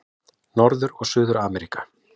Norður- og Suður-Ameríka